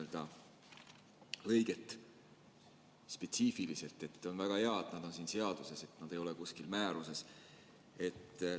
On väga hea, et need on siin seaduses, et need ei ole kuskil määruses.